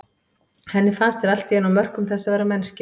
Henni fannst þeir allt í einu á mörkum þess að vera mennskir.